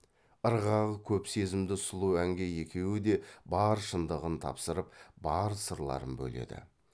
ырғағы көп сезімді сұлу әнге екеуі де бар шындығын тапсырып бар сырларын бөледі